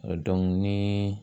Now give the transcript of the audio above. ni